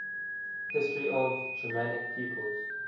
history of the germanic peoples